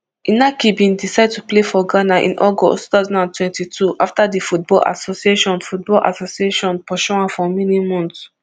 inaki bin decide to play for ghana in august two thousand and twenty-two afta di football association football association pursue am for many months